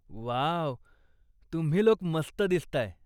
Wow, तुम्ही लोक मस्त दिसताय.